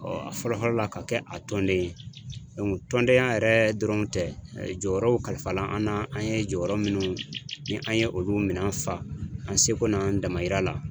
a fɔlɔ fɔlɔ la ka kɛ a tɔnden ye tɔndenya yɛrɛ dɔrɔn tɛ jɔyɔrɔw kalifa la an na an ye jɔyɔrɔ minnu ni an ye olu minan fa an seko n'an damayira la.